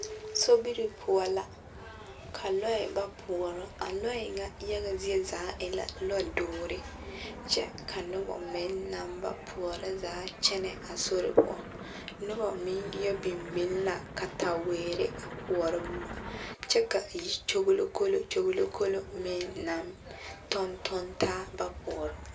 Sobiri poɔ la ka lɔɛ ba poɔrɔ, a lɔɛ ŋa yaga zie zaa e la lɔdoore kyɛ ka nobɔ meŋ naŋ ba poɔrɔ zaa kyɛnɛ a sori poɔ, noba meŋ yɔ biŋ biŋ la kataweere a koɔrɔ boma kyɛ ka yikyogilokolo kyogilokolo meŋ naŋ tɔntɔnne taa ba poɔrɔ.